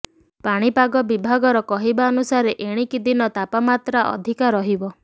ପାଣିପାଗ ବିଭାଗର କହିବାନୁସାରେ ଏଣିକି ଦିନ ତାପମାତ୍ରା ଅଧିକ ରହିବ